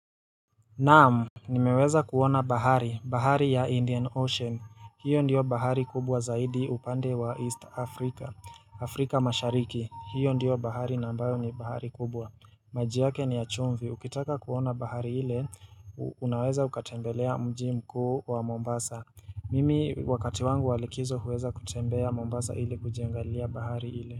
Naam. Nimeweza kuona bahari. Bahari ya Indian Ocean. Hiyo ndiyo bahari kubwa zaidi upande wa East Africa. Afrika mashariki. Hiyo ndiyo bahari na ambayo ni bahari kubwa. Maji yake ni ya chumvi. Ukitaka kuona bahari ile, unaweza ukatembelea mji mkuu wa Mombasa. Mimi wakati wangu walikizo huweza kutembea Mombasa ile kujiagalilia bahari ile.